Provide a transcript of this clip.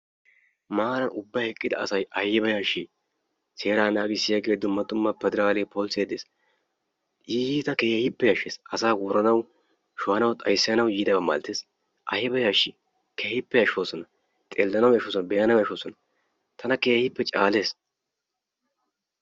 Maara ubban eqqida asay ayba yashshi! seeraa naaggissiyaage dumma dumma pederale polisse dees. Iita keehippe yashshees. asa woranaw, shohanaw, xayssanaw yiidaba malatoosona. aybba yashshi! xeelanaw yashshsoosona, be''anaw yashshsoosona, tana keehippe caalees.